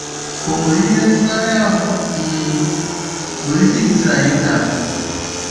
Ọ nwere ihe ntụgharị ahụ um nwere ike ịkụziri anyị taa?